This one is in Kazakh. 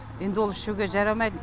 енді ол ішуге жарамайд